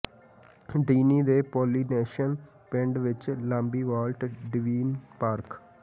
Disney ਦੇ Polynesian ਪਿੰਡ ਵਿੱਚ ਲਾਬੀ ਵਾਲਟ ਡੀਵੀਨ ਪਾਰਕ